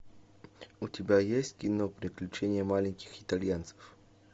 у тебя есть кино приключение маленьких итальянцев